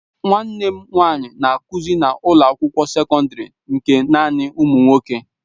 Nwanne m nwanyị na-akụzi na ụlọ akwụkwọ sekọndrị nke naanị ụmụ nwoke.